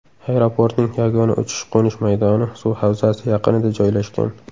Aeroportning yagona uchish-qo‘nish maydoni suv havzasi yaqinida joylashgan.